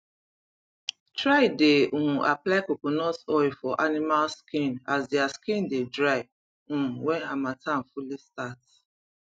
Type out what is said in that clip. try dey um apply coconut oil for animals skin as dia skin dey dry um wen hamattan fully start